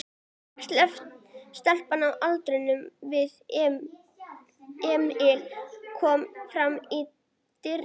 Stelpa á aldur við Emil kom fram í dyrnar.